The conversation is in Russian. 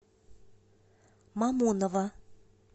мамоново